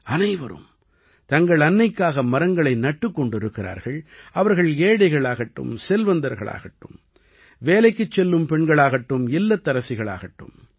அனைவரும் தங்கள் அன்னைக்காக மரங்களை நட்டுக் கொண்டிருக்கிறார்கள் - அவர்கள் ஏழைகளாகட்டும் செல்வந்தர்களாகட்டும் வேலைக்குச் செல்லும் பெண்களாகட்டும் இல்லத்தரசிகளாகட்டும்